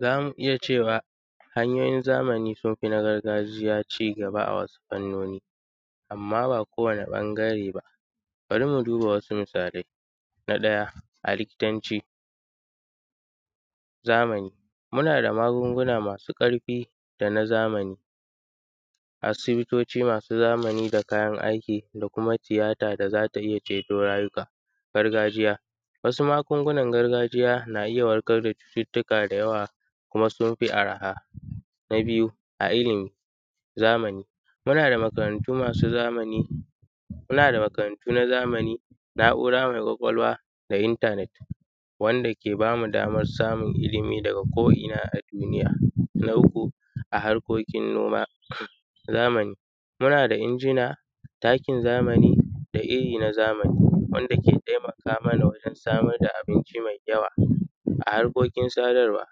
Zamu iyya cewa hanyoyin zamani sunfi na gargajiya cigaba a wasu fannoni amma ba kowani ɓangare ba. Bari mu duba wasu misalai na ɗaya a likitancin zamani munada magunguna masu ƙarfi dana zamani. Asibitoci masu zamani da kayan aiki da kuma tiyata da zata iyya ceto rayuka. Gargajiya wasu magungunan gargajiya na iyya warkarda cututtuka da yawa kuma sunfi arha. Na biyu a illimi zamani munada makarantu nazamani, na’ura mai kwakwalwa da intanet wanda ke bamu damar samun illimi daga ko inna a duniya. Na uku a harkokin noma zamani munada injina, takin zamani da irri na zamani wanda ke taimaka mana gurin samun abinci mai yawa. A harkin sadarwa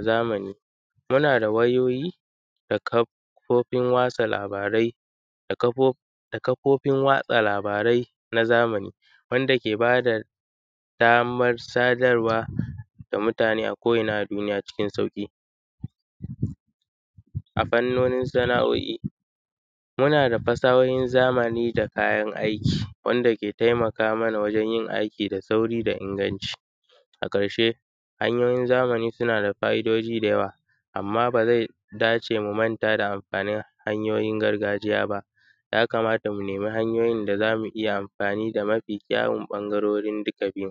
zamani munada wayoyi da kafofin watsa labarai na zamani wanda ke bada wanda ke bada damar sadarwa ga mutane a ko inna a duniya cikin sauƙi. A fannonin sana’oi munada munada fasahohin zamani da kayan aiki, wanda ke taimaka mana wajen yin da aiki da sauri da iganci. A karshe hanyoyin zamani sunada fa’idoji da yawa amma bazai dace mu manta da amfanin hanyoyin gargajiya ba, ya kamata mu nemi hanyoyin da zamu iyya amfani da mafi kyawun ɓangarorin duka biyun